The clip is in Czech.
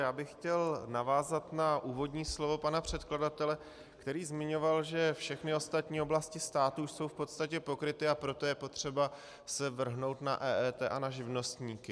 Já bych chtěl navázat na úvodní slovo pana předkladatele, který zmiňoval, že všechny ostatní oblasti státu jsou v podstatě pokryty, a proto je potřeba se vrhnout na EET a na živnostníky.